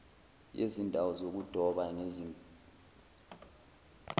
yezindawo zokudoba ngezinga